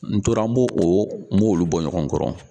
N tora n b'o o, n b'olu bɔ ɲɔgɔn kɔnɔ